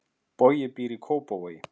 Bogi býr í Kópavogi.